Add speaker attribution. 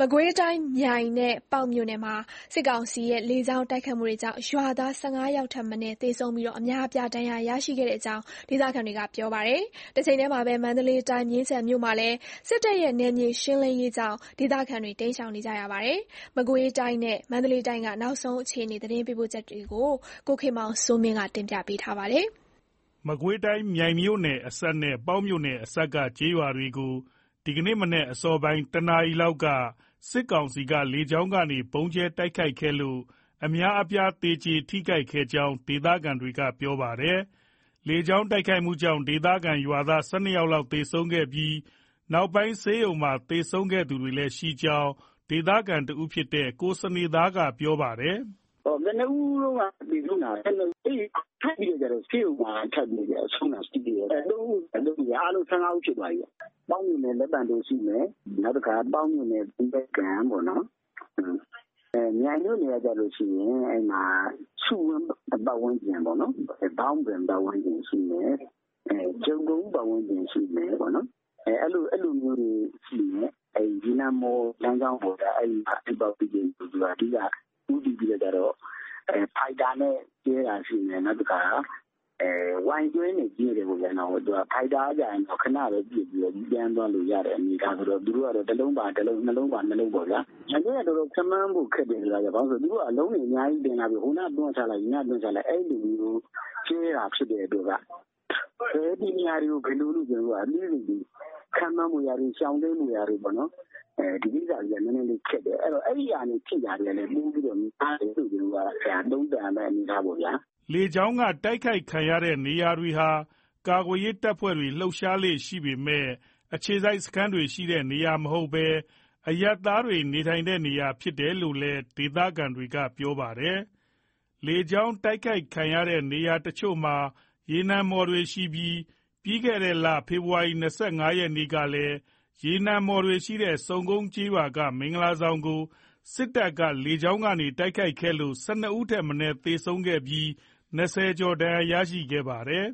Speaker 1: မကွေးတိုင်း မြိုင်နဲ့ ပေါက်မြို့နယ်မှာ စစ်ကောင်စီရဲ့ လေကြောင်းတိုက်ခိုက်မှုတွေကြောင့် ရွာသား ယောက်ထက်မနည်းသေဆုံးပြီး အများအပြား ဒဏ်ရာရရှိခဲ့ကြောင်း ဒေသခံတွေက ပြောပါတယ်။ တချိန်တည်းမှာပဲ မန္တလေးတိုင်း မြင်းခြံမြို့မှာလည်း စစ်တပ်ရဲ့ နယ်မြေရှင်းလင်းရေးကြောင့် ဒေသခံတွေ တိမ်းရှောင်နေကြရတာပါ။ မကွေးတိုင်းနဲ့ မန္တလေးတိုင်းက နောက်ဆုံး အခြေအနေ ရန်ကုန်က သတင်းပေးပို့ထားပါတယ်။ မကွေးတိုင်း မြိုင်မြို့နယ်အစပ်နဲ့ ပေါက်မြို့နယ်အစပ်က ကျေးရွာတွေကို ဒီကနေ့ မနက်အစောပိုင်း တ နာရီလောက်မှာ စစ်ကောင်စီက လေကြောင်းကနေ ဗုံးကြဲတိုက်ခိုက်ခဲ့လို့ အများအပြား သေကျေ ထိခိုက်ခဲ့ရကြောင်း ဒေသခံတွေက ပြောပါတယ်။ လေကြောင်းတိုက်ခိုက်မှုကြောင့် ဒေသခံရွာသား ၁၂ ယောက် သေဆုံးခဲ့ပြီး နောက်ပိုင်း ဆေးရုံမှာ သေဆုံးသူတွေလည်း ရှိခဲ့ကြောင်း ဒေသခံတဦးဖြစ်တဲ့ ကိုစနေသား ကပြောပါတယ်။ "
Speaker 2: ကနဦးတုန်းက သေဆုံးတာ ဦး ။ ထပ်ပြီးတော့ ဆေးရုံမှာ ဆုံးတာရှိသေးတယ်။ ဦးရှိတယ်။ အားလုံး ဦးဖြစ်သွားပြီ။ ပေါက်မြို့နယ် လက်ပံတိုရှိမယ်။ ပေါက်မြို့နယ် သရက်ကန်၊ မြိုင်မြို့နယ် မှာဆိုရင် ဆူးဝင်း ပတ်ဝန်းကျင်၊ ဘောင့်ဘင် ပတ်ဝန်းကျင် အဲ့လိုတွေရှိတယ်။ ရေနံမှော် လမ်းကြောင်း ပေါ့ဗျာ။ အဓိက ဦးတည်ပြီးတော့ ဖိုက်တာနဲ့ ကြဲတယ်။ Y12 နဲ့ကြဲတယ်ပေါ့။ ဖိုက်တာက ခဏပဲပစ်ပြီး ပြန်သွားလို့ရတဲ့ အနေအထားဆိုတော့ သူတို့က တလုံးပါတလုံး၊ နှစ်လုံးပါနှစ်လုံး အနေအထားပေါ့ ဗျာ။ မနေ့က ခန့်မှန်းဖို့ခက်တယ်။ Y12 က ဟိုနားချလိုက် ဒီနားချလိုက်ဆိုတော့ တည်နေရာ ခန့်မှန်း ရှောင်တိမ်းဖို့ရာ နည်းနည်းခက်တော့ အဲ့ဒါကနေ ထိခိုက်တာ များတယ်လို့ သုံးသပ်ရမှာပ
Speaker 1: ေါ့။" လေကြောင်းက တိုက်ခိုက်ခံရတဲ့နေရာတွေဟာ ကာကွယ်ရေးတပ်ဖွဲ့တွေ လှုပ်ရှားလေ့ရှိပေမဲ့ အခြေစိုက် စခန်းတွေရှိတဲ့နေရာမဟုတ်ဘဲ အရပ်သားတွေနေထိုင်တဲ့နေရာလို့လည်း ဒေသခံတွေက ပြောပါတယ်။ လေကြောင်းတိုက်ခိုက်ခံရတဲ့ နေရာအချို့မှာ ရေနံမှော်တွေရှိပြီး ပြီးခဲ့တဲ့ ဖေဖော်ဝါရီ ရက် ကလည်း ရေနံမှော်တွေရှိတဲ့ ဆုံကုန်းကျေးရွာက မင်္ဂလာဆောင်ကို စစ်တပ်ဘက်က လေကြောင်း တိုက်ခိုက်ခဲ့လို့ ဦး ထက်မနည်းသေဆုံးပြီး ကျော် ဒဏ်ရာရရှိခဲ့ပါသေးတယ်